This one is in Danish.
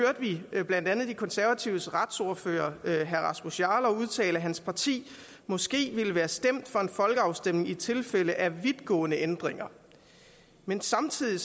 vi blandt andet de konservatives retsordfører herre rasmus jarlov udtale at hans parti måske ville være stemt for en folkeafstemning i tilfælde af vidtgående ændringer men samtidig